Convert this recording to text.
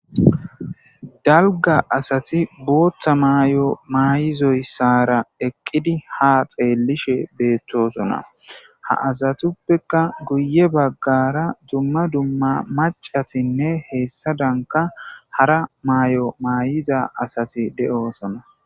Dalga asati botha mayo mayidoyisara eqidi ha xelishe betosona ha asatuppeka guye bagara duma duma maca,tinne hesadanka hara mayo mayidageti de, osona